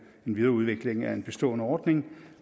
en videreudvikling af en bestående ordning